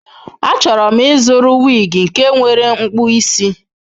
Achọrọ m ịzụrụ wig nke nwere mkpụ isi.